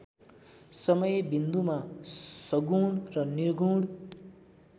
समयबिन्दुमा सगुण र निर्गुण